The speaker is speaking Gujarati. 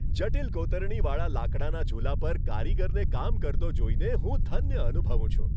જટિલ કોતરણીવાળા લાકડાના ઝૂલા પર કારીગરને કામ કરતો જોઈને હું ધન્ય અનુભવું છું.